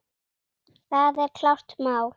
Það er klárt mál.